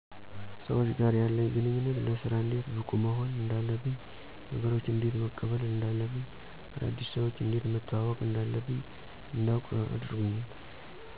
ሰዎች ጋር ያለኝ ግንኙነት ለስራ እንዴት ብቁ መሆን እንዳለብኝ ነገሮችን እንዴት መቀበል እንዳለብኝ አዳዲስ ሰዎችን እንዴት መተዋወቅ እንዳለብኝ እንዳዉቅ አድርጎኛል